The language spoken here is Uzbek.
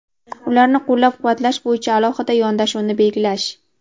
ularni qo‘llab-quvvatlash bo‘yicha alohida yondashuvni belgilash.